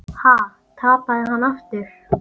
Ha, tapaði hann aftur?